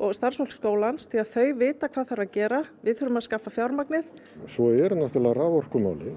og starfsfólk skólans því að þau vita hvað þarf að gera við þurfum að skaffa fjármagnið svo eru náttúrulega raforkumálin